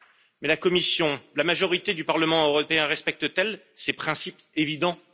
Mais la Commission et la majorité du Parlement européen respectent t elle ces principes évidents?